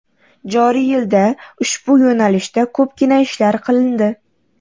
Joriy yilda ushbu yo‘nalishda ko‘pgina ishlar qilindi.